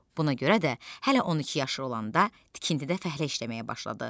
Buna görə də hələ 12 yaşı olanda tikintidə fəhlə işləməyə başladı.